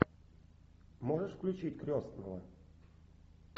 можешь включить крестного